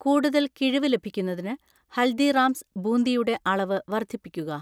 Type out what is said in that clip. കൂടുതൽ കിഴിവ് ലഭിക്കുന്നതിന് ഹൽദിറാംസ് ബൂന്തി യുടെ അളവ് വർദ്ധിപ്പിക്കുക